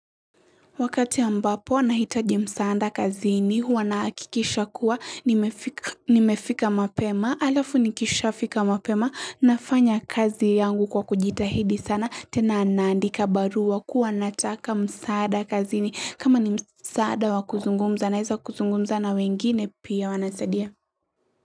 Wakati ambapo nahitaji msaada kazini, huwa nahakikisha kuwa, nimefika mapema, alafu nikisha fika mapema, nafanya kazi yangu kwa kujitahidi sana, tena naandika barua, kuwa nataka msaada kazini, kama ni msaada wa kuzungumza, naweza kuzungumza na wengine pia wanasaidia.